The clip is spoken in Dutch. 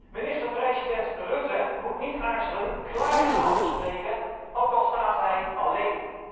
Minister president Rutte moet niet aarzelen klare taal te spreken, ook al staat hij alleen.